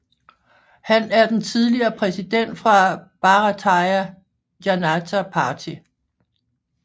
Han er den tidligere præsident for Bharatiya Janata Party